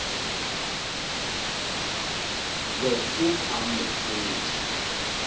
be o ka mo hwetša